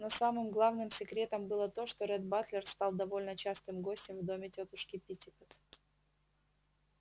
но самым главным секретом было то что ретт батлер стал довольно частым гостем в доме тётушки питтипэт